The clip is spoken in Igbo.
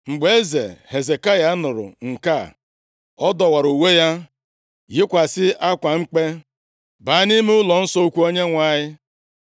Mgbe eze Hezekaya, nụrụ nke a, ọ dọwara uwe ya, yikwasị akwa mkpe, baa nʼime ụlọnsọ ukwu Onyenwe anyị.